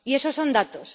Y eso son datos.